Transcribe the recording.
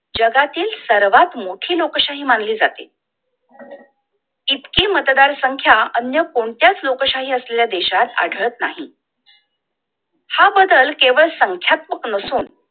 जगातील सर्वात मोठी लोकशाही मानली जाते! इतकी मतदान संख्या अन्य कोणत्याच लोकशाही असलेल्या देशात आद्वत नाही! हा बदल केवळ संख्यात्मक नसून